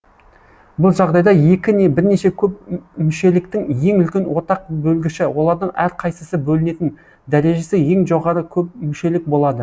бұл жағдайда екі не бірнеше көпмүшеліктің ең үлкен ортақ бөлгіші олардың әрқайсысы бөлінетін дәрежесі ең жоғары көпмүшелік болады